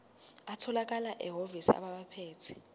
atholakala emahhovisi abaphethe